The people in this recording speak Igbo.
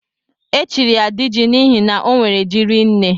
Echiri ya diji n'ihi na onwe ji rinne.